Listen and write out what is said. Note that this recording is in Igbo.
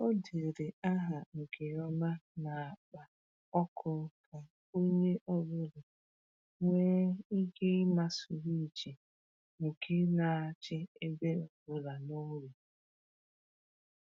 O dere aha nke ọma n’akpa ọkụ ka onye ọbụla nwee ike ịma swịchị nke na-achị ebe ọ bụla n’ụlọ